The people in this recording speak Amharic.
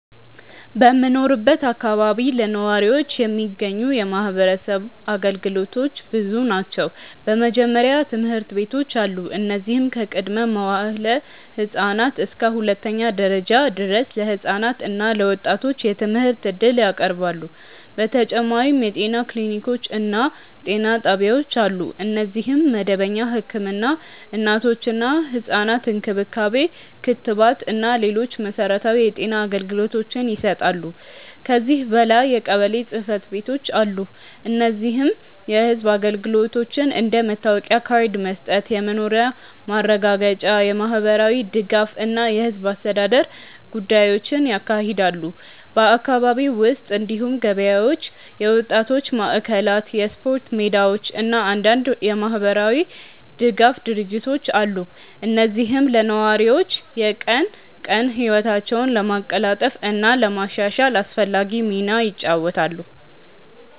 በምኖርበት አካባቢ ለነዋሪዎች የሚገኙ የማህበረሰብ አገልግሎቶች ብዙ ናቸው። በመጀመሪያ ትምህርት ቤቶች አሉ፣ እነዚህም ከቅድመ-መዋዕለ ህፃናት እስከ ሁለተኛ ደረጃ ድረስ ለህፃናት እና ለወጣቶች የትምህርት እድል ያቀርባሉ። በተጨማሪም የጤና ክሊኒኮች እና ጤና ጣቢያዎች አሉ፣ እነዚህም መደበኛ ህክምና፣ እናቶችና ህፃናት እንክብካቤ፣ ክትባት እና ሌሎች መሠረታዊ የጤና አገልግሎቶችን ይሰጣሉ። ከዚህ በላይ የቀበሌ ጽ/ቤቶች አሉ፣ እነዚህም የህዝብ አገልግሎቶችን እንደ መታወቂያ ካርድ መስጠት፣ የመኖሪያ ማረጋገጫ፣ የማህበራዊ ድጋፍ እና የህዝብ አስተዳደር ጉዳዮችን ያካሂዳሉ። በአካባቢው ውስጥ እንዲሁም ገበያዎች፣ የወጣቶች ማዕከላት፣ የስፖርት ሜዳዎች እና አንዳንድ የማህበራዊ ድጋፍ ድርጅቶች አሉ፣ እነዚህም ለነዋሪዎች የቀን ቀን ህይወታቸውን ለማቀላጠፍ እና ለማሻሻል አስፈላጊ ሚና ይጫወታሉ።